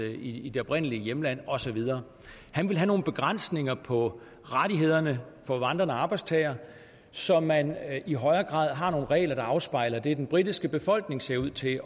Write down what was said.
i i det oprindelige hjemland og så videre han vil have nogle begrænsninger på rettighederne for vandrende arbejdstagere så man i højere grad har nogle regler der afspejler det den britiske befolkning ser ud til